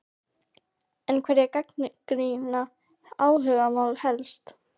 En hverjir gagnrýna áhugamálið helst?